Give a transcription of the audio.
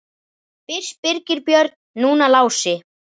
Fyrst Birgir Björn, núna Lási.